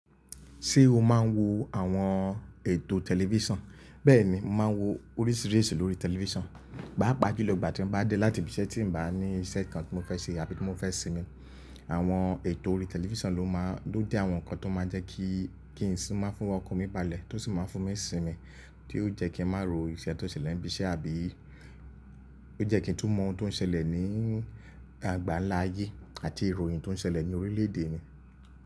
Ṣé o máa ń wo àwọn ètò tẹlifísàn? Bẹ́ẹ̀ni, màá ń wo oríṣìíríṣìí lórí tẹlifísàn. Páápàá jùlọ ìgbà tí mo bá dé láti ibiṣẹ́ tí ń bá ní iṣẹ́ kan tí mo fẹ́ ṣe àbí tí mo fẹ́ sinmi, àwọn ètò orí tẹlifísàn ló máa ń-- ló jẹ́ àwọn nǹkan tó máa ń jẹ́ kí, kí ìsinmi fún ọkàn mi balẹ̀ tó sì máa ń fún mi sinmi tí ó jẹ́ kí ń má ro iṣẹ́ tó ṣẹlẹ̀ ní ibiṣẹ́ àbí ó jẹ́ kí n tún mọ ohun tó ń ṣẹlẹ̀ ní àgbálá ayé àti ìròyìn tó ń ṣẹlẹ̀ ní orílẹ̀ èdè mi.